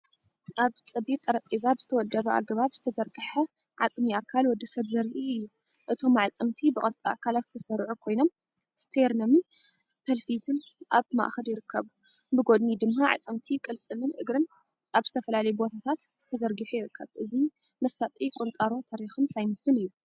ኣብ ጸቢብ ጠረጴዛ ብዝተወደበ ኣገባብ ዝተዘርግሐ ዓጽሚ ኣካል ወዲ ሰብ ዘርኢ እዩ። እቶም ኣዕጽምቲ ብቅርጺ ኣካላት ዝተሰርዑ ኮይኖም፡ስቴርነምን ፐልቪስን ኣብ ማእከል ይርከቡ። ብጐድኒ ድማ ኣዕጽምቲ ቅልጽምን እግርን ኣብ ዝተፈላለየ ቦታታት ተዘርጊሑ ይርከብ። እዚ መሳጢ ቁንጣሮ ታሪኽን ሳይንስን እዩ